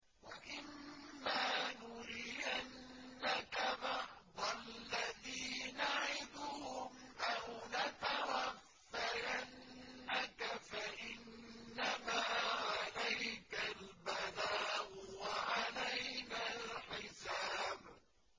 وَإِن مَّا نُرِيَنَّكَ بَعْضَ الَّذِي نَعِدُهُمْ أَوْ نَتَوَفَّيَنَّكَ فَإِنَّمَا عَلَيْكَ الْبَلَاغُ وَعَلَيْنَا الْحِسَابُ